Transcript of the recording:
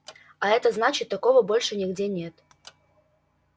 а это значит такого больше нигде нет